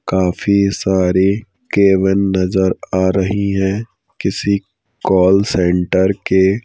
काफी सारे कैवन नजर आ रही हैं किसी कॉल सेंटर के--